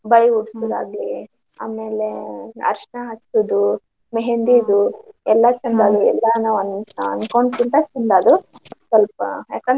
ಬಳಿ ಇಡ್ಸುದಾಗ್ಲಿ ಆಮೇಲೆ ಅರ್ಶನಾ ಹಚ್ಚುದು, मेहंदी ದು ಎಲ್ಲ ಚಂದ ಆದ್ವು. ಎಲ್ಲಾನು ನಾ ಅನ್ಕೊಂಡ್ಕಿಂತ ಚಂದ ಆದ್ವು ಸ್ವಲ್ಪ ಯಾಕಂದ್ರೆ.